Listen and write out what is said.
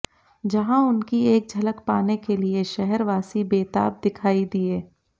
जहां उनकी एक झलक पाने के लिए शहरवासी बेताब दिखाई दिए